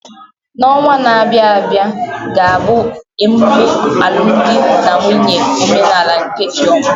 N'ọnwa na-abịa ga-abụ ememe alụmdi na nwunye omenala nke Chioma.